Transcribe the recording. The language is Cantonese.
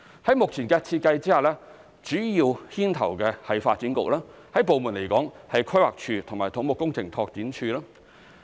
在目前的設計下，主要牽頭的為發展局，部門來說有規劃署及土木工程拓展署。